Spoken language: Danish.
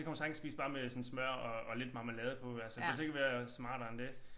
Det kan hun sagtens spise bare med sådan smør og og lidt marmelade på altså behøves ikke at være smartere end det